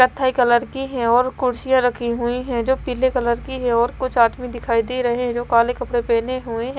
कत्थई कलर की है और कुर्सियां रखी हुई है जो पीले कलर की है और कुछ आदमी दिखाई दे रहे हैं जो काले कपड़े पहने हुए हैं।